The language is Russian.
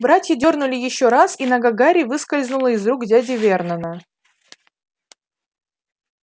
братья дёрнули ещё раз и нога гарри выскользнула из рук дяди вернона